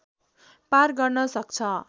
पार गर्न सक्छ